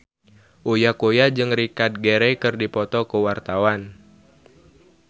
Uya Kuya jeung Richard Gere keur dipoto ku wartawan